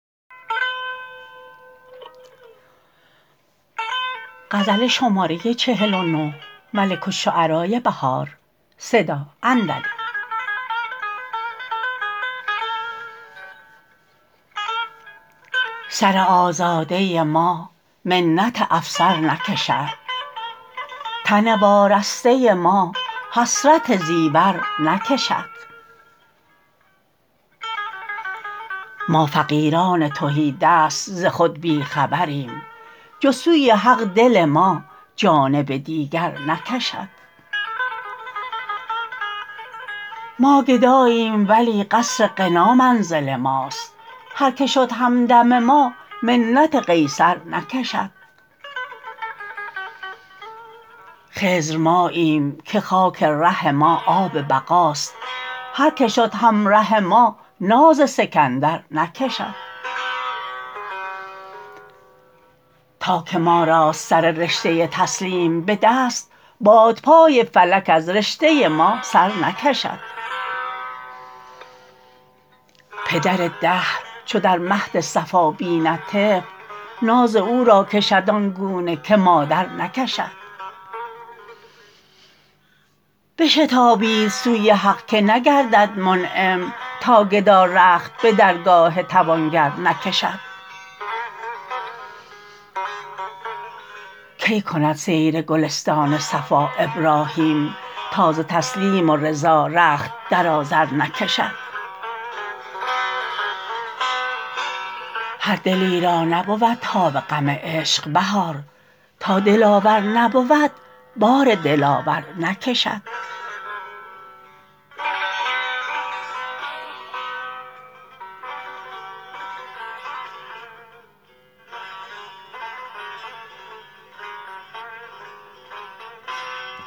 سر آزاده ما منت افسر نکشد تن وارسته ما حسرت زیور نکشد ما فقیران تهیدست ز خود بیخبریم جز سوی حق دل ما جانب دیگر نکشد ما گداییم ولی قصر غنا منزل ماست هر که شد همدم ما منت قیصر نکشد خضر ماییم که خاک ره ما آب بقاست هر که شد همره ما ناز سکندر نکشد تا که ما راست سر رشته تسلیم به دست بادپای فلک از رشته ما سر نکشد پدر دهر چو در مهد صفا بیند طفل ناز او را کشد آنگونه که مادر نکشد بشتابید سوی حق که نگردد منعم تا گدا رخت به درگاه توانگر نکشد کی کند سیر گلستان صفا ابراهیم تا ز تسلیم و رضا رخت در آذر نکشد هر دلی را نبود تاب غم عشق بهار تا دلاور نبود بار دلاور نکشد